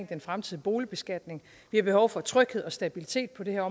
den fremtidige boligbeskatning vi har behov for tryghed og stabilitet på det her